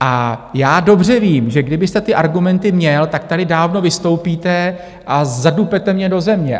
A já dobře vím, že, kdybyste ty argumenty měl, tak tady dávno vystoupíte a zadupete mě do země.